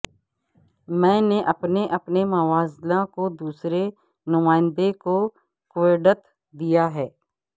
میں نے اپنے اپنے موازنہ کو دوسرے نمائندے کو کوڈت دیا ہے